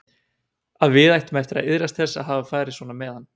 Að við ættum eftir að iðrast þess að hafa farið svona með hann.